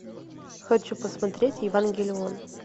хочу посмотреть евангелион